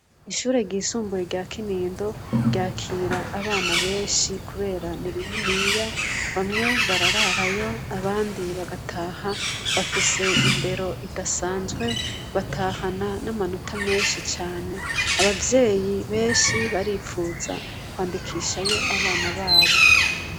Ishure ryisumbuye rya Kinindo ryakira abana benshi kubera ni rininiya bamwe barararayo abandi bagataha bafise indero idasanzwe batahana n' amanota menshi cane abavyeyi benshi baripfuza kwandikishayo abana babo.